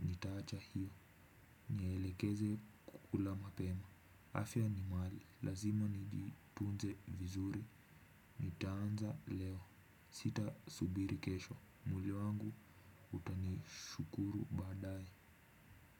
nitaacha hiyo, nielekeze kukula mapema. Afya ni mali, lazima nijitunze vizuri, nitaanza leo, sitasubiri kesho, mwili wangu utanishukuru baadaye.